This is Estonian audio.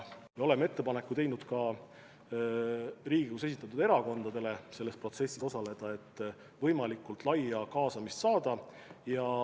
Me oleme ka Riigikogus esindatud erakondadele teinud ettepaneku selles protsessis osaleda, et võimalikult laia kaasamist saada.